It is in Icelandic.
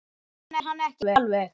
Skil hann ekki alveg.